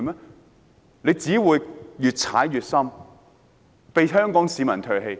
他們只會越踩越深，被香港市民唾棄。